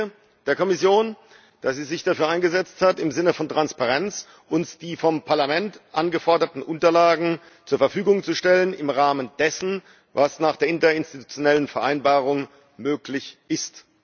Ich danke der Kommission, dass sie sich dafür eingesetzt hat, im Sinne von Transparenz uns die vom Parlament angeforderten Unterlagen zur Verfügung zu stellen, im Rahmen dessen, was nach der Interinstitutionellen Vereinbarung möglich ist.